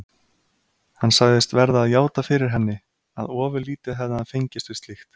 Hann sagðist verða að játa fyrir henni, að ofurlítið hefði hann fengist við slíkt.